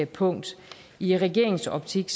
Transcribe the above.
punkt i regeringens optik